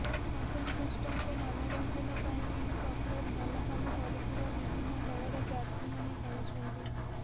ଅସନ୍ତୁଷ୍ଟଙ୍କ ମାନ ଭଂଜନ ପାଇଁ ଏହି କସରତ ଭଲ କାମ କରୁଥିବା ବିଭିନ୍ନ ଦଳର ପ୍ରାର୍ଥୀମାନେ କହିଛନ୍ତି